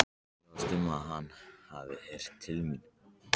Ég efast um, að hann hafi heyrt til mín.